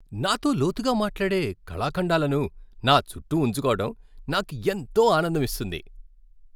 నాతో లోతుగా మాట్లాడే కళాఖండాలను నా చుట్టూ ఉంచుకోవటం నాకు ఎంతో ఆనందం ఇస్తుంది.